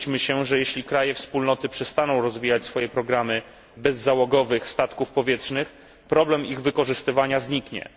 Nie łudźmy się, że jeśli kraje Wspólnoty przestaną rozwijać swoje programy bezzałogowych statków powietrznych, problem ich wykorzystywania zniknie.